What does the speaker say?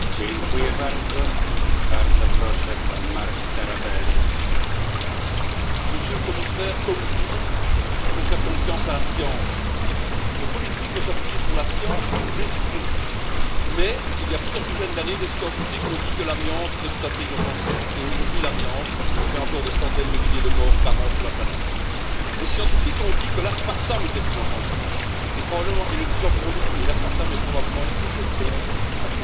Monsieur le Président, Monsieur le Commissaire, comme vous, nous devons faire confiance à la science. Le politique doit s'appuyer sur la science pour décider, mais il y a plusieurs dizaines d'années, des scientifiques ont dit que l'amiante était tout à fait inoffensif et, aujourd'hui, l'amiante fait encore des centaines de milliers de morts par an sur la planète. Des scientifiques ont dit que l'aspartame était inoffensif et le disent encore aujourd'hui, mais l'aspartame est probablement une prochaine bombe alimentaire qui va exploser.